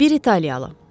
Bir italyalı.